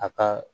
A ka